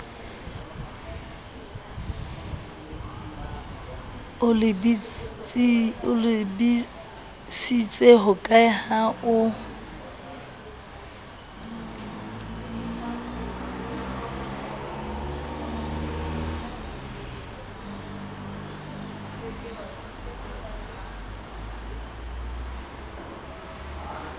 o lebisitse hokae ha o